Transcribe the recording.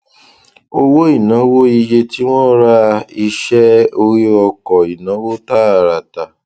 owó ìnáwó iye tí wọn rà iṣẹ orí ọkọ ìnáwó tààràtà